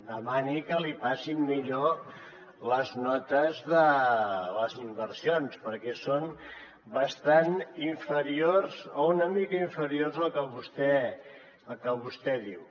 demani que li passin millor les notes de les inversions perquè són bastant inferiors o una mica inferiors al que vostè diu